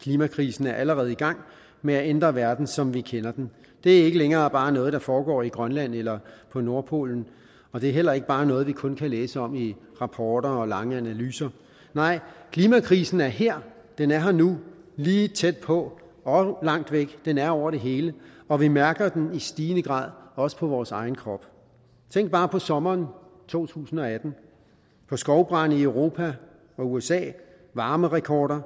klimakrisen er allerede i gang med at ændre verden som vi kender den det er ikke længere bare noget der foregår i grønland eller på nordpolen og det er heller ikke bare noget vi kun kan læse om i rapporter og lange analyser nej klimakrisen er her den er her nu lige tæt på og langt væk den er over det hele og vi mærker den i stigende grad også på vores egen krop tænk bare på sommeren 2018 på skovbrande i europa og usa varmerekorder